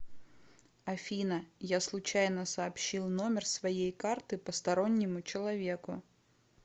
афина я случайно сообщил номер своей карты постороннему человеку